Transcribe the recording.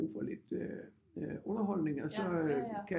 Brug for lidt underholdning og så kan